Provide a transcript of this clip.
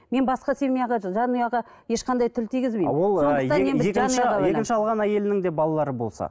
мен басқа семьяға жанұяға ешқандай тіл тигізбеймін екінші алған әйелінің де балалары болса